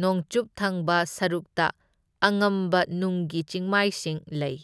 ꯅꯣꯡꯆꯨꯞ ꯊꯪꯕ ꯁꯔꯨꯛꯇ ꯑꯉꯝꯕ ꯅꯨꯡꯒꯤ ꯆꯤꯡꯃꯥꯏꯁꯤꯡ ꯂꯩ꯫